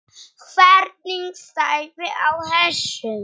Hvernig stæði á þessu?